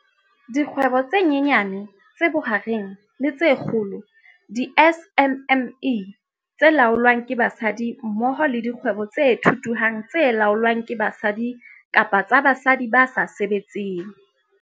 Dikgwebo tse Nyanyane, tse Bohareng le tse Kgolo, di-SMME, tse laolwang ke basadi mmoho le dikgwebo tse thuthuhang tse laolwang ke basadi kapa tsa basadi ba sa sebetseng.